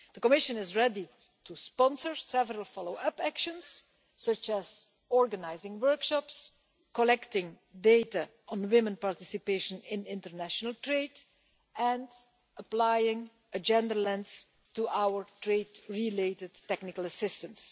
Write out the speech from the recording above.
The Commission is ready to sponsor several follow up actions, such as organising workshops, collecting data on women's participation in international trade, and applying a gender lens to our trade related technical assistance.